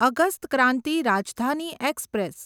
August Kranti Rajdhani express